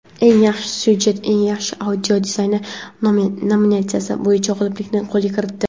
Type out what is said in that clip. "Eng yaxshi syujet" va "Eng yaxshi audio dizayn" nominatsiyalari bo‘yicha g‘oliblikni qo‘lga kiritdi.